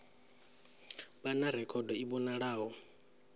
vha na rekhodo i vhonalaho